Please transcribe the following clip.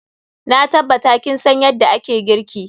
Na tabbata kin san yadda ake girki.